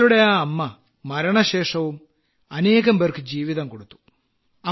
നിങ്ങളുടെ ആ അമ്മ മരണശേഷവും അനേകംപേർക്കു ജീവിതം കൊടുത്തു